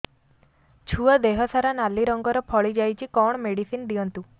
ଛୁଆ ଦେହ ସାରା ନାଲି ରଙ୍ଗର ଫଳି ଯାଇଛି କଣ ମେଡିସିନ ଦିଅନ୍ତୁ